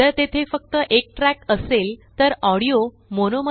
जर तेथे फक्त एक ट्रॅक असेल तरऑडिओ मोनो